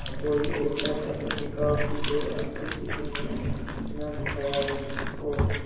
कोई ऐसा करतब दिखाओ कि जो अब तक किसी ने ना दिखाया हो और